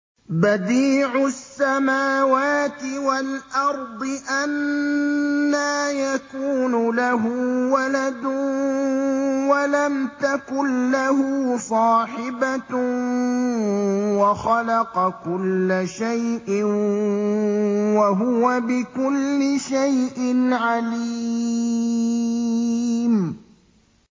بَدِيعُ السَّمَاوَاتِ وَالْأَرْضِ ۖ أَنَّىٰ يَكُونُ لَهُ وَلَدٌ وَلَمْ تَكُن لَّهُ صَاحِبَةٌ ۖ وَخَلَقَ كُلَّ شَيْءٍ ۖ وَهُوَ بِكُلِّ شَيْءٍ عَلِيمٌ